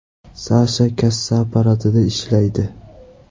Sasha kassa apparatida ishlaydi.